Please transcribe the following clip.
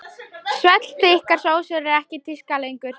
Svellþykkar sósur eru ekki í tísku lengur.